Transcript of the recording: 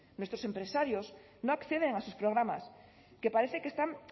nuestros empresarios no acceden a sus programas que parece que están